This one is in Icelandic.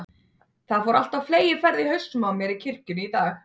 Það fór allt á fleygiferð í hausnum á mér í kirkjunni í dag.